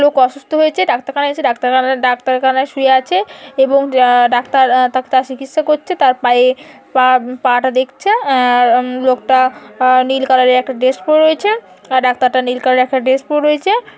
লোক অসুস্থ হয়েছে ডাক্তার খানায় ডাক্তার খানায় শুয়ে আছে | এবং ডাক্তার ডাক্তার চিকিসা করছে | তাঁর পায়ে পা টা দেখছে | লোকটা নীল কলার একটা ড্রেস পরে রয়েছে | আর ডাক্তার টা নীল কলার ড্রেস পরে রয়েছে।